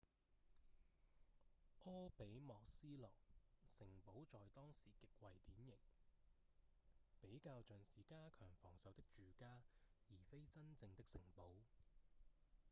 柯比莫斯洛 kirby muxloe 城堡在當時極為典型比較像是加強防守的住家而非真正的城堡